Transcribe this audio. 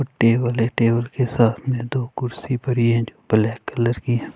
table है table के सामने दो कुर्सी परी है जो ब्लैक कलर की --